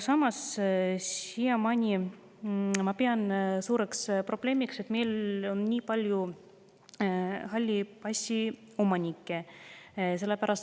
Samas pean ma suureks probleemiks, et meil on nii palju halli passi omanikke.